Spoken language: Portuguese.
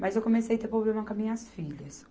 Mas eu comecei a ter problema com as minhas filhas.